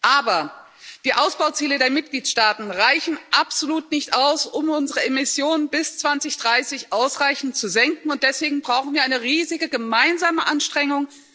Aber Die Ausbauziele der Mitgliedstaaten reichen absolut nicht aus, um unsere Emissionen bis 2030 ausreichend zu senken, und deswegen brauchen wir eine riesige gemeinsame Anstrengung.